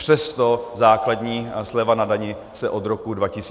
Přesto základní sleva na dani se od roku 2008 nezvýšila.